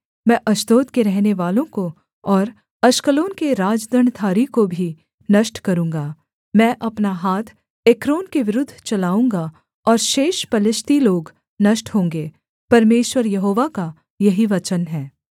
मैं अश्दोद के रहनेवालों को और अश्कलोन के राजदण्डधारी को भी नष्ट करूँगा मैं अपना हाथ एक्रोन के विरुद्ध चलाऊँगा और शेष पलिश्ती लोग नष्ट होंगे परमेश्वर यहोवा का यही वचन है